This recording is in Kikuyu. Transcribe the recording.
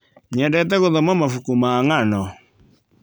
Nyendete gũthoma mabuku ma ng'ano.